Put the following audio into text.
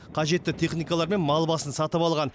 қажетті техникалар мен мал басын сатып алған